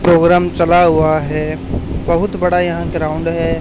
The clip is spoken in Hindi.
प्रोग्राम चला हुआ है बहुत बड़ा यहां ग्राउंड है।